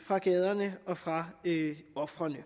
fra gaderne og fra ofrene i